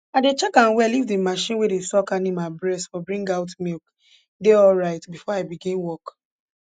i dey check am well if d marchin wey dey suck animal bress for bring out milk dey alright before i begin work